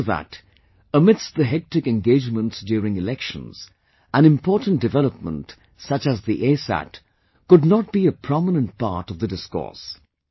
After that, amidst the hectic engagements during Elections, an important development such as the ASat could not be a prominent part of the discourse